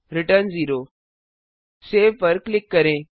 return 0 save पर click करें